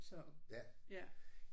Så ja